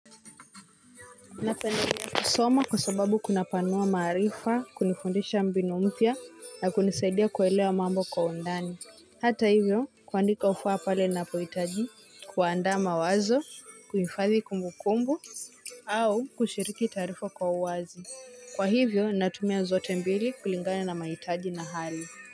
Napendelea kusoma kwa sababu kunapanua maarifa, kunifundisha mbinu mpya na kunisaidia kuelewa mambo kwa undani. Hata hivyo, kuandika hufaa pale napohitaji kuandaa mawazo, kuifadhi kumbukumbu, au kushiriki taarifa kwa uwazi. Kwa hivyo, natumia zote mbili kulingana na mahitaji na hali.